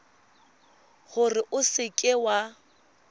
gore o seka w a